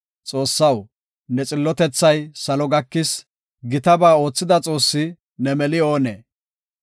Xoossaw, ne xillotethay salo gakis; gitaba oothida Xoossi, ne meli oonee?